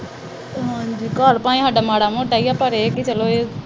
ਹਾਂਜੀ, ਘਰ ਤਾਂ ਸਾਡਾ ਮਾੜਾ ਮੋਟਾ ਈ ਆ, ਪਰ ਚਲੋ ਇਹ ਹੈ ਕਿ